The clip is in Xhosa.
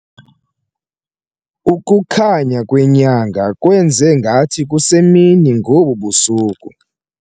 Ukukhanya kwenyanga kwenze ngathi kusemini ngobu busuku.